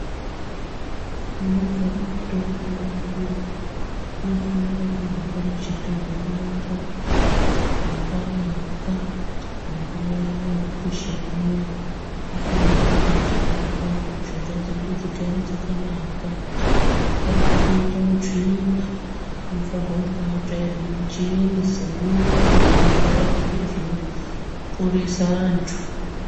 Munogara mutombo mofanira kunga mechitonhorera makanaka, munguva iya yekupisha muya mofanira kunge mechitonhorera kuti mishonga dzedu dzigare dzakanaka, amufanike kuite utsvina mofanirwa kumbatsvairwa muchene semumba munogara zviro zvinoporese antu.